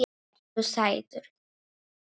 Ertu sætur?